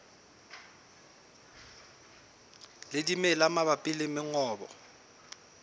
le dimela mabapi le mongobo